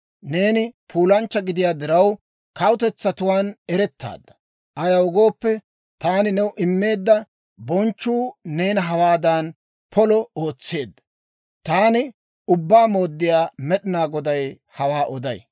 Neeni puulanchcha gidiyaa diraw, kawutetsatuwaan erettaadda. Ayaw gooppe, taani new immeedda bonchchuu neena hawaadan polo ootseedda. Taani Ubbaa Mooddiyaa Med'inaa Goday hawaa oday.